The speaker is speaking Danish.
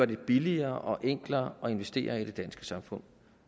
det billigere og enklere at investere i det danske samfund